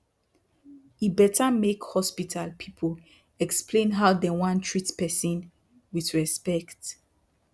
e better make hospital people explain how dey wan treatment person with respect.